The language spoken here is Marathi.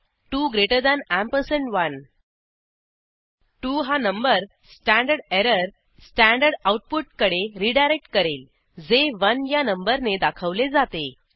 21 2 ग्रेटर दॅन अँपरसँड 1 2 हा number standard error standard output कडे रीडायरेक्ट करेल जे 1 या नंबरने दाखवले जाते